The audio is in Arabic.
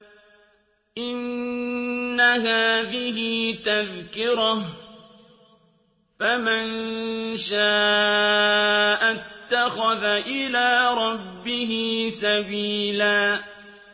إِنَّ هَٰذِهِ تَذْكِرَةٌ ۖ فَمَن شَاءَ اتَّخَذَ إِلَىٰ رَبِّهِ سَبِيلًا